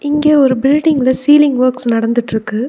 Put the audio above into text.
இங்க ஒரு பில்டிங்ல சீலிங் ஒர்க்ஸ் நடந்துட்ருக்கு.